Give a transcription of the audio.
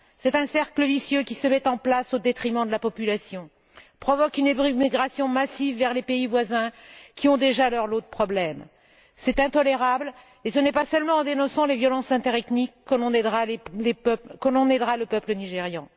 C'est un cercle vicieux qui se met en place au détriment de la population, provoque une émigration massive vers les pays voisins, qui ont déjà leur lot de problèmes. C'est intolérable, et ce n'est pas seulement en dénonçant les violences interethniques que l'on aidera le peuple nigérian.